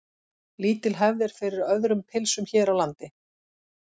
Lítil hefð er fyrir öðrum pylsum hér á landi.